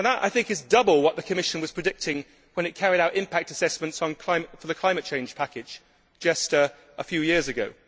That, I think, is double what the Commission was predicting when it carried out impact assessments for the climate change package just a few years ago.